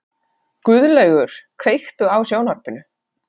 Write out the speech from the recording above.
Guðlaugur, kveiktu á sjónvarpinu.